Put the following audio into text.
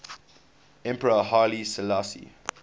emperor haile selassie